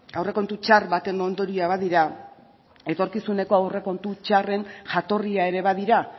aurrekontu txar baten ondorioa badira etorkizuneko aurrekontu txarren jatorria ere badira